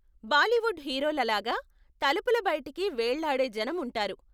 బాలీవుడ్ హీరోల లాగా తలుపుల బయటికి వేళ్ళాడే జనం ఉంటారు.